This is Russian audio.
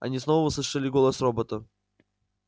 они снова услышали голос робота